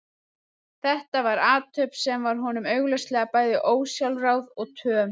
Þetta var athöfn sem var honum augljóslega bæði ósjálfráð og töm.